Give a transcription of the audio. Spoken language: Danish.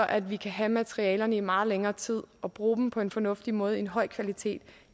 at vi kan have materialerne i meget længere tid og bruge dem på en fornuftig måde altså en høj kvalitet